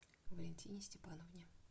валентине степановне